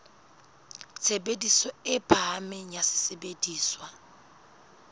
tshebediso e phahameng ya sesebediswa